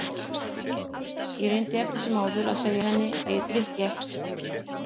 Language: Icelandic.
Ég reyndi eftir sem áður að segja henni að ég drykki ekki.